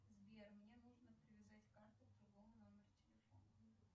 сбер мне нужно привязать карту к другому номеру телефона